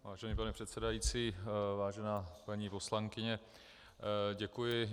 Vážený pane předsedající, vážená paní poslankyně, děkuji.